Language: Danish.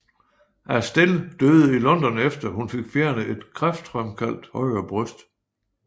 Astell døde i London efter hun fik fjernet et kræftfremkaldt højre bryst